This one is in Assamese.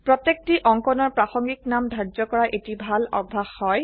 প্ৰতেয়কটি অঙ্কনৰ প্ৰাসঈিক নাম ধাৰ্য কৰা এটি ভাল অভ্যাস হয়